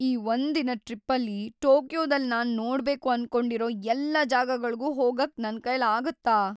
ಈ ಒಂದ್ ದಿನದ್ ಟ್ರಿಪ್ಪಲ್ಲಿ ಟೋಕಿಯೊದಲ್ ನಾನ್ ನೋಡ್ಬೇಕು ಅನ್ಕೊಂಡಿರೋ ಎಲ್ಲಾ ಜಾಗಗಳ್ಗೂ ಹೋಗಕ್ ನನ್ಕೈಲ್‌ ಆಗತ್ತಾ?